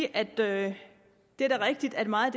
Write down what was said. at det da er rigtigt at meget